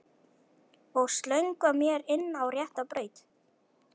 Og slöngva mér inn á rétta braut.